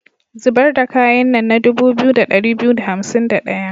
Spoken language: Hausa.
Zibar da kayan nan na dubu 2251.